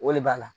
O de b'a la